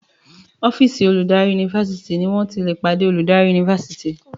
ọ́fíìsì oludari Yunifásitìni wón tí lẹ pàdé olórí Yunifásitìni